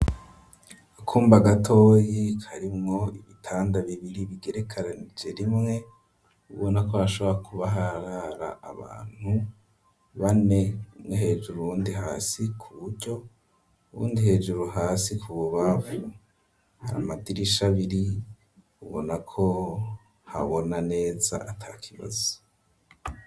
Akumba gatoyi karimwo ibitanda bibiri bigerekanije rimwe ubona ko hashobora kuba harara abantu bane umwe hejuru undi hasi ku buryo, uwundi hejuru, hasi ku bubamfu, amadirisha abiri ubona ko habona neza atakibazo.